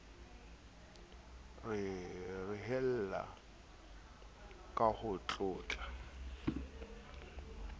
ho rehella ka ho tlotla